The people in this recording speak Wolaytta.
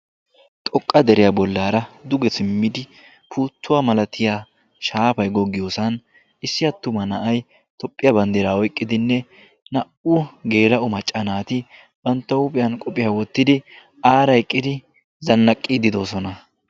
Xoqqa deriyaa bollaara duge simmidi puuttuwaa malatiya shaapay goggiyoosan issi attuma na'a tophphiyaa banddiraa oiqqidinne naa"u geela macca naati bantta huuphiyan qophiyaa wottidi aara eqqidi zannaqqii didoosona.